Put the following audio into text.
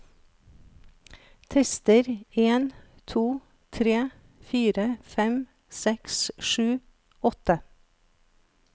Tester en to tre fire fem seks sju åtte